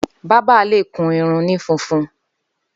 Bàbà lé kún irún ni fúnfún